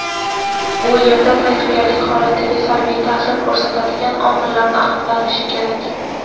u yerda tayyorgarlik holatiga salbiy ta’sir ko‘rsatadigan omillarni aniqlanishi kerak.